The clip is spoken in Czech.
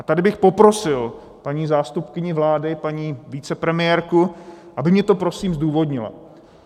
A tady bych poprosil paní zástupkyni vlády, paní vicepremiérku, aby mně to prosím zdůvodnila.